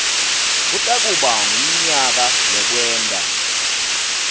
kutakuba ngumnyaka wekwenta